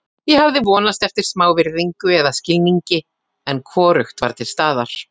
Ég hafði vonast eftir smá virðingu eða skilningi, en hvorugt var til staðar.